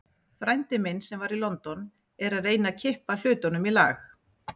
Frændi minn, sem var í London, er að reyna að kippa hlutunum í lag.